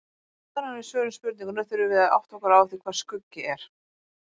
Áður en við svörum spurningunni þurfum við að átta okkur á því hvað skuggi er.